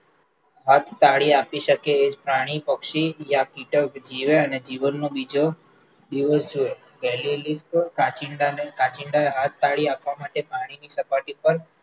આજ તાળી આપી શકે એજ પ્રાણી પક્ષી, કીટક જીવે અને જીવનનો બીજો દિવસ છે, કાંચીડાને કાંચીડા હાથતાળી આપવા માટે પાણીની સપાટી પર